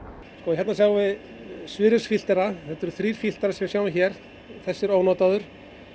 nýársdegi hérna sjáum við þetta eru þrír filterar sem við sjáum hér þessi er ónotaður